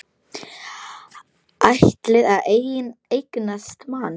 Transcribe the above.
Ætlar að eignast mann.